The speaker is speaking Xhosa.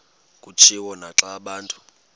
kutshiwo naxa abantu